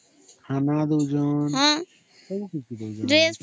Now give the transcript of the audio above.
ଖାନା ଦଉ ଛନ